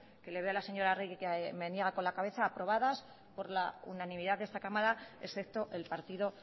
que le veo a la señora arregi que le veo que me niega con la cabeza aprobadas por la unanimidad de esta cámara excepto el partido